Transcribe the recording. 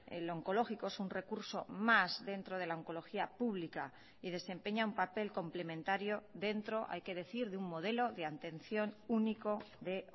el oncológico es un recurso más dentro de la oncología pública y desempeña un papel complementario dentro hay que decir de un modelo de atención único de